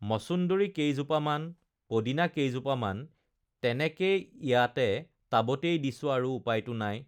মচুন্দৰি কেইজোপা মান, পদিনা কেইজোপামান, তেনেকেই ইয়াতে টাবতেই দিছোঁ আৰু উপাইতো নাই